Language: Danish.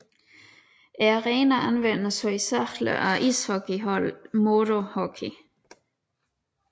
Arenaen anvendes hovedsageligt af ishockeyholdet MODO Hockey